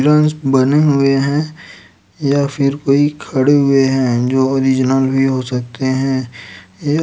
हिरनस बने हुए है या फिर कोई खड़े हुए है जो ओरिजिनल भी हो सकते है ये --